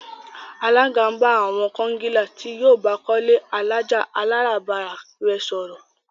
Alága ń bá àwon kongilá tí yíó baa kó ilé alájà-aláràbarà re sòrò.